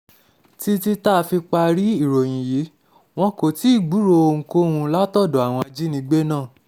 títí tá a fi parí um ìròyìn yìí wọn kò tí ì gbúròó ohunkóhun látọ̀dọ̀ àwọn ajínigbé um náà